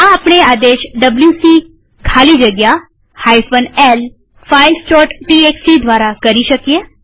આ આપણે આદેશ ડબ્લ્યુસી ખાલી જગ્યા l filesટીએક્સટી દ્વારા કરી શકીએ